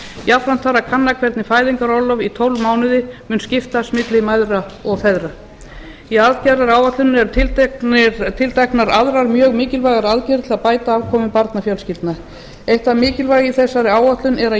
jafnframt þarf að kanna hvernig fæðingarorlof í tólf mánuði mun skiptast milli mæðra og feðra í aðgerðaáætluninni eru tilteknar aðrar mjög mikilvægar aðgerðir til að bæta afkomu barnafjölskyldna eitt það mikilvæga í þessari áætlun er að